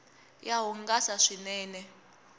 ya hungasa swinene